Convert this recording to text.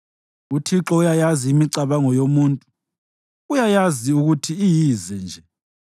UThixo uyayazi imicabango yomuntu; uyayazi ukuthi iyize nje.